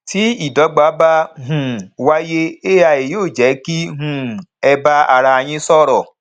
tí ìdọgba bá um wáyé ai yóò jé kí um ẹ bá ara yín sọrọ